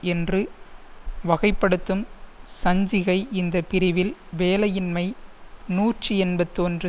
என்று வகைப்படுத்தும் சஞ்சிகை இந்த பிரிவில் வேலையின்மை நூற்றி எண்பத்தொன்று